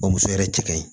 Bamuso yɛrɛ cɛ ka ɲi